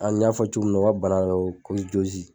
An y'a fɔ cogo min na u ka bana dɔ be yen ko